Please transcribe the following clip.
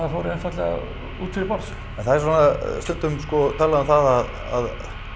fór einfaldlega út fyrir borð en það er svona stundum talað um það sko að